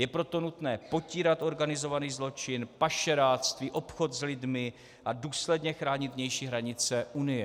Je proto nutné potírat organizovaný zločin, pašeráctví, obchod s lidmi a důsledně chránit vnější hranice Unie.